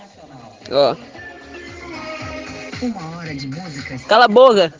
колобок